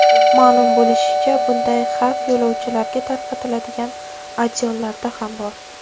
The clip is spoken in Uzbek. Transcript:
Ma’lum bo‘lishicha, bunday xavf yo‘lovchilarga tarqatiladigan adyollarda ham bor.